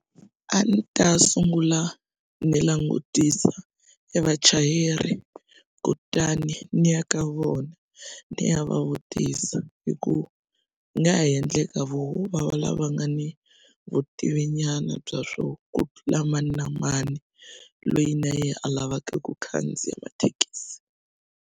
A ni ta sungula ni langutisa e vachayeri kutani ni ya ka vona ni ya va vutisa hi ku ni nga ha endleka voho va va lava nga ni vutivi nyana bya swo ku tlula mani na mani loyi na yehe a lavaka ku khandziya mathekisi.